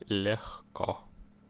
легко